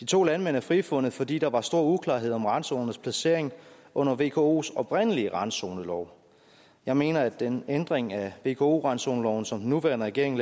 to landmænd er frifundet fordi der var stor uklarhed om randzonernes placering under vkos oprindelige randzonelov jeg mener at den ændring af vko randzoneloven som den nuværende regering